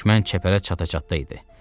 Düşmən çəpərə çata-çatda idi.